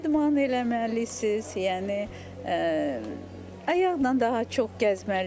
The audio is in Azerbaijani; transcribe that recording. İdman eləməlisiz, yəni, ayaqla daha çox gəzməlisiz.